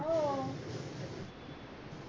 हो